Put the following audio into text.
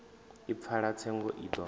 i pfalaho tsengo i do